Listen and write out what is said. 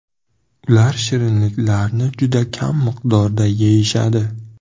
Ular shirinliklarni juda kam miqdorda yeyishadi.